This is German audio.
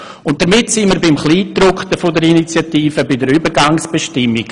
Und damit sind wir beim Kleingedruckten der Initiative, bei den Übergangsbestimmungen.